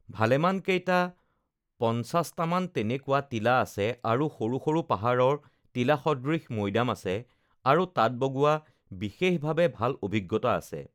uhh ভালেমানকেইটা পঞ্চাশটামান তেনেকুৱা টিলা আছে সৰু সৰু পাহাৰৰ টিলা সদৃশ মৈদাম আছে, আৰু তাত বগোৱা বিশেষভাৱে uhh ভাল অভিজ্ঞতা আছে,